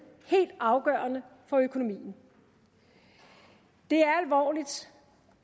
helt afgørende for økonomien det